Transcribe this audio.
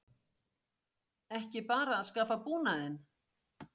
Ekki bara að skaffa búnaðinn?